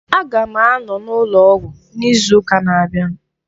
Aga m anọ n'ụlọ ọgwụ n'izu ụka na-abịa.